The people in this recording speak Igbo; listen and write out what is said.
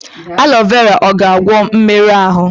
Aloe vera ọ ga-agwọ mmerụ ahụ?